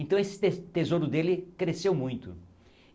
Então esse tes tesouro dele cresceu muito.